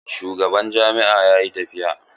Shugaban jami'a yayi tafiya.